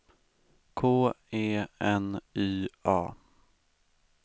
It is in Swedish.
K E N Y A